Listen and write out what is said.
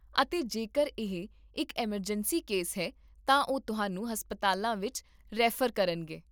ਅਤੇ ਜੇਕਰ ਇਹ ਇੱਕ ਐੱਮਰਜੈਂਸੀ ਕੇਸ ਹੈ ਤਾਂ ਉਹ ਤੁਹਾਨੂੰ ਹਸਪਤਾਲਾਂ ਵਿੱਚ ਰੈਫਰ ਕਰਨਗੇ